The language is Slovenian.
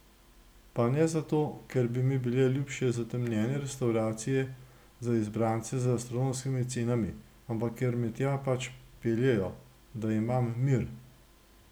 Pa ne zato, ker bi mi bile ljubše zatemnjene restavracije za izbrance z astronomskimi cenami, ampak ker me tja pač peljejo, da imam mir.